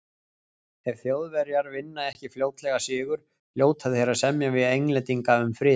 Ef Þjóðverjar vinna ekki fljótlega sigur, hljóta þeir að semja við Englendinga um frið.